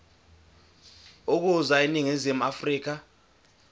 ukuza eningizimu afrika